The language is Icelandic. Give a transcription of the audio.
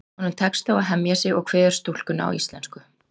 Honum tekst þó að hemja sig og kveður stúlkuna á íslensku.